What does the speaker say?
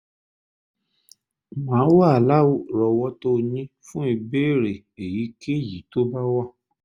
màá wà lárọ̀ọ́wọ́tó yín fún ìbéèrè èyíkéyìí tó bá wà